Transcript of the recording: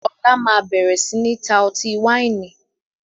Ọlá máa bẹ̀rẹ̀ sini ta ọtí wáìnì